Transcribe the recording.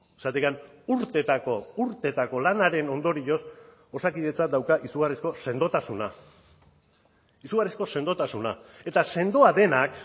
zergatik urteetako urteetako lanaren ondorioz osakidetzak dauka izugarrizko sendotasuna izugarrizko sendotasuna eta sendoa denak